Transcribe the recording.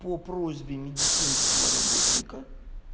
по просьбе медицинского работника